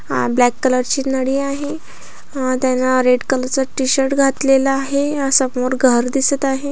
हा black colour ची नळी आहे त्याने रेड कलर चा टि-शर्ट घातलेला दिसत आहे समोर घर दिसत आहे.